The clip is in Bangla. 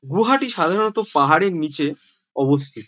গুয়াহাটি সাধারনত পাহাড়ের নিছে অবস্থিত।